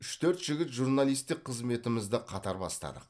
үш төрт жігіт журналисттік қызметімізді қатар бастадық